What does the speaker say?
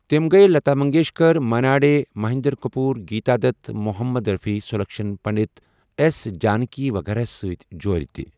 تٔمۍ گیۍ لتا منگیشکر، منا ڈے، مہندرا کپور، گیتا دت، محمد رفیع، سلکشن پنڈت، ایس جانکی وغیرہ ہَس سۭتۍ جورِ تہِ۔